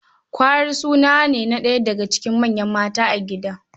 Kwari suna ne na ɗaya daga cikin manyan mata a gida.